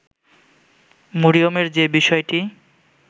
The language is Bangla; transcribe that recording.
মরিয়মের যে বিষয়টি